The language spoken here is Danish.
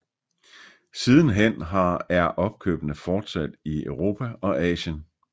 Sidenhen har er opkøbene fortsat i Europa og Asien